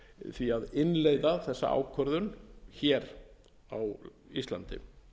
því að innleiða þessa ákvörðun hér á íslandi